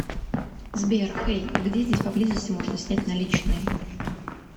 сбер хэй где здесь поблизости можно снять наличные